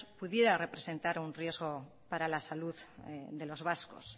pudiera representar un riesgo para la salud de los vascos